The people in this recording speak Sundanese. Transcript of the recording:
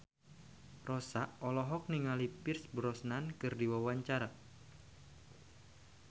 Rossa olohok ningali Pierce Brosnan keur diwawancara